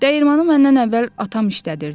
Dəyirmanı məndən əvvəl atam işlədirdi.